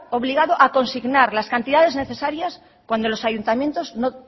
obligado a consignar las cantidades necesarias cuando los ayuntamientos no